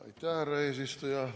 Aitäh, härra eesistuja!